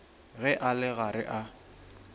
ge a le gare a